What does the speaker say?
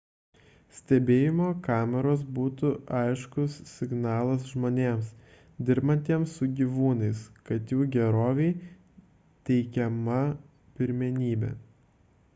stebėjimo kameros būtų aiškus signalas žmonėms dirbantiems su gyvūnais kad jų gerovei teikiama pirmenybė